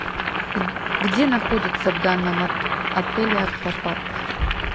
где находится в данном отеле аквапарк